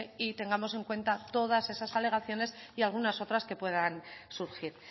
y tengamos en cuenta todas esas alegaciones y algunas otras que puedan surgir